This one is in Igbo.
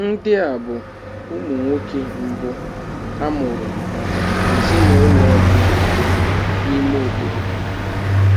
Ndị a bụ ụmụ nwoke mbụ a mụrụ maka ezinụlọ ọ bụla n'ime obodo